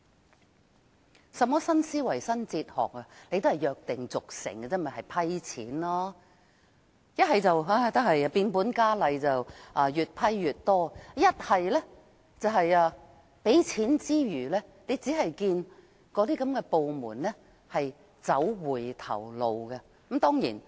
那有甚麼新思維、新哲學，不過是約定俗成，審批撥款而已，要不是變本加厲，越批越多，便是批出撥款後，只見有關部門走回頭路。